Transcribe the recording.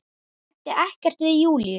Ég ræddi ekkert við Júlíu.